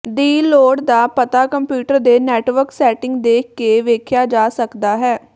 ਦੀ ਲੋੜ ਦਾ ਪਤਾ ਕੰਪਿਊਟਰ ਦੇ ਨੈੱਟਵਰਕ ਸੈਟਿੰਗ ਦੇਖ ਕੇ ਵੇਖਿਆ ਜਾ ਸਕਦਾ ਹੈ